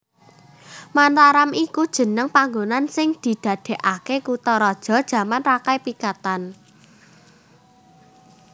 Mataram iku jeneng panggonan sing didadèkaké kutharaja jaman Rakai Pikatan